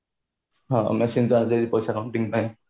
ହଁ machine ଯେମିତି ପଇସା counting ପାଇଁ